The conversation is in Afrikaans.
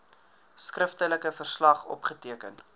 skriftelike verslag opgeteken